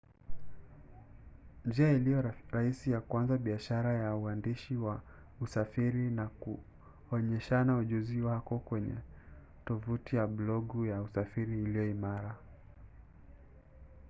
njia ilio rahisi kuanza biashara ya uandishi wa usafiri ni kuonyeshana ujuzi wako kwenye tovuti ya blogu ya usafiri iliyo imara